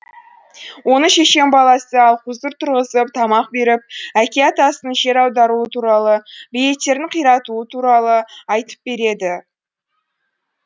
оны шешен баласы алхузур тұрғызып тамақ беріп әке атасының жер аударуы туралы бейіттердің қиратуы туралы айтып береді